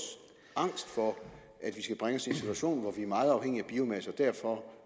angst for at vi skal bringe situation hvor vi er meget afhængige af biomasse og derfor